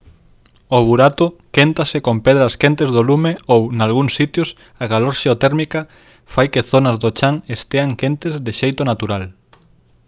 o burato quéntase con pedras quentes do lume ou nalgúns sitios a calor xeotérmica fai que zonas do chan estean quentes de xeito natural